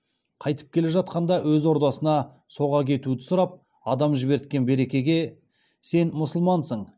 қайтып келе жатқанда өз ордасына соға кетуді сұрап адам жіберткен беркеге сен мұсылмансың